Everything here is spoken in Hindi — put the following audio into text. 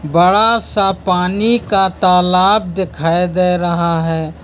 बड़ा सा पानी का तालाब दिखाई दे रहा है।